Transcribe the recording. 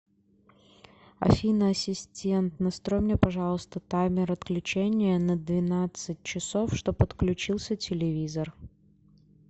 афина ассистент настрой мне пожалуйста таймер отключения на двенадцать часов чтоб отключился телевизор